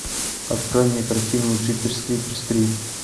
открой мне картину джиперс криперс три